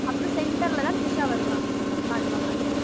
அப்புறம் center ல தான் திரிஷா வருவாங்க பாடுவாங்க